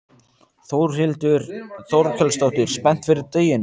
Þórhildur Þorkelsdóttir: Spennt fyrir deginum?